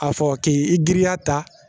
A fɔ k'i giriya ta